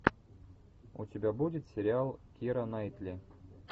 у тебя будет сериал кира найтли